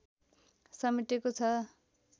समेटेको छ